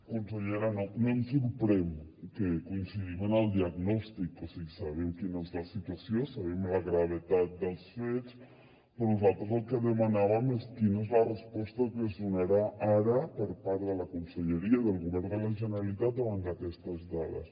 consellera no em sorprèn que coincidim en el diagnòstic o sigui sabem quina és la situació sabem la gravetat dels fets però nosaltres el que demanàvem és quina és la resposta que es donarà ara per part de la conselleria del govern de la generalitat davant d’aquestes dades